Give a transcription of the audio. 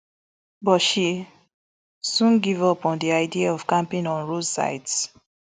but she soon give up on di idea of camping on roadsides